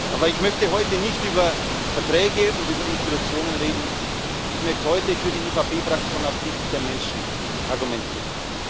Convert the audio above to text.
Aber ich möchte heute nicht über Verträge und Institutionen reden, ich möchte heute für die EVP Fraktion aus Sicht der Menschen argumentieren.